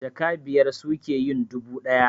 Jaka biyar suke yin dubu ɗaya